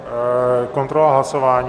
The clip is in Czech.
Kontrola hlasování?